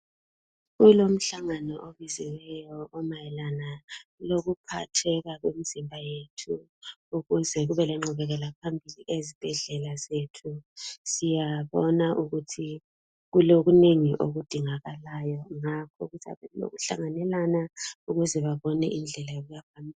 Kulomhlangano obiziweyo mayelana lokuphatheka kwemzimba yethu ukuze kube lengqubekela phambili ezibhedlela zethu siyabona ukuthi kulokunengi kudingakalayo ngakho kulokuhlanganelana ukuze babone indlela yokuya phambili.